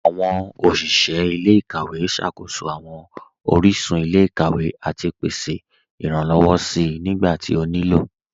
Awọn oṣiṣẹ ilẹ̀-ikawẹ̀ ṣákóṣọ awọn oríṣun ilẹ̀-ikawẹ̀ àti pèsè iránlọ́wọ̀ sí nígbàtí ó ní ilọ́.